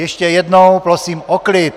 Ještě jednou prosím o klid!